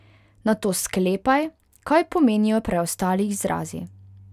Nato sklepaj, kaj pomenijo preostali izrazi.